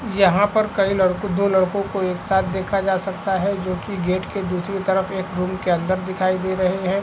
यहाँ पर कई लड़को दो लड़को को एक साथ देखा जा सकता है जो की गेट के दूसरी तरफ एक रूम के अंदर दिखाई दे रहे है।